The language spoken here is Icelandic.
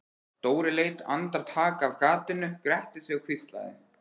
Dóri leit andartak af gatinu, gretti sig og hvíslaði